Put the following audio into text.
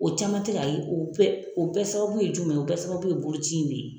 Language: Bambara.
O caman ti ka ye o bɛɛ o bɛɛ sababu ye jumɛn ye o bɛɛ sababu ye boloci in de ye.